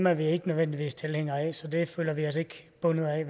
er vi ikke nødvendigvis tilhængere af så dem føler vi os ikke bundet af